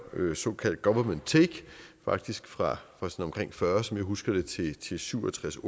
såkaldt government take faktisk fra omkring fyrre som jeg husker det til til syv og tres